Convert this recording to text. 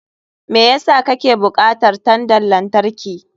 Me yasa kake bukatar tandan lantarki?